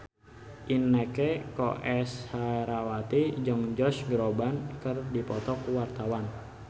Inneke Koesherawati jeung Josh Groban keur dipoto ku wartawan